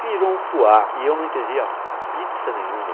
Virou um fuá e eu não entendi a pizza nenhuma.